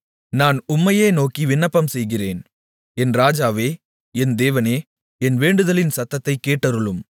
நான் உம்மையே நோக்கி விண்ணப்பம் செய்கிறேன் என் இராஜாவே என் தேவனே என் வேண்டுதலின் சத்தத்தைக் கேட்டருளும்